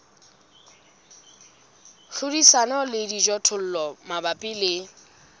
hlodisana le dijothollo mabapi le